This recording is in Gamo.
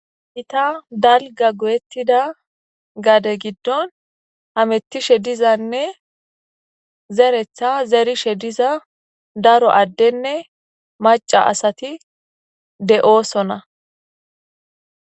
Gita dalgga goyettidda gade giddon hamettishshe dizanne zeereththa zerishshe diza daro addenne macca asati de'oosona